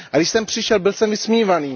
A když jsem přišel, byl jsem vysmívaný.